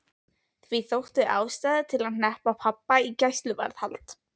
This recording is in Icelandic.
Því þótti ástæða til að hneppa pabba í gæsluvarðhald.